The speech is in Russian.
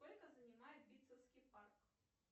сколько занимает битцевский парк